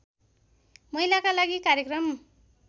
महिलाका लागि कार्यक्रम